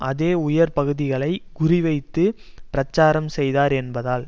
அதே உயர் பகுதிகளை குறி வைத்து பிரச்சாரம் செய்தார் என்பதால்